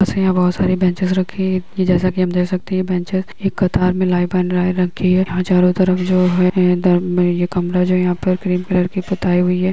इसमें यहाँ बहुत सारी बेंचेस रखी जैसा कि हम देख सकते हैं बेंचेस एक कतार मे लाइन बन लाइन रखी है यहाँ चारो तरफ जो है ये दर मे ये कमरा जो यहाँ पर क्रीम कलर की पुताई हुई है।